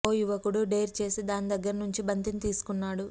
ఓ యువకుడు డేర్ చేసి దాని దగ్గర నుంచి బంతిని తీసుకున్నాడు